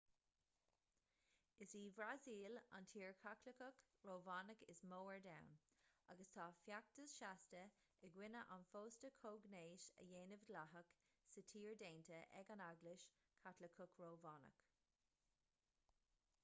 is í an bhrasaíl an tír chaitliceach rómhánach is mó ar domhan agus tá feachtas seasta i gcoinne an phósta comhghnéis a dhéanamh dleathach sa tír déanta ag an eaglais chaitliceach rómhánach